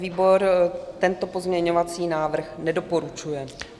Výbor tento pozměňovací návrh nedoporučuje.